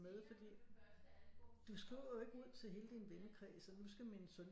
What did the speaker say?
Med fordi du skriver jo ikke ud til hele din vennekreds at nu skal min søn